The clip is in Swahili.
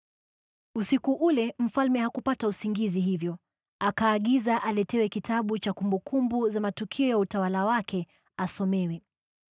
Usiku ule mfalme hakupata usingizi, hivyo akaagiza aletewe kitabu cha kumbukumbu za matukio ya utawala wake, asomewe.